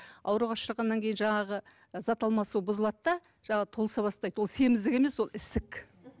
ауруға ұшырағаннан кейін жаңағы зат алмасу бұзылады да жаңағы толыса бастайды бұл семіздік емес ол ісік